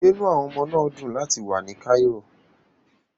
Ṣé inú àwọn ọmọ náà dùn láti wà ní Cairo?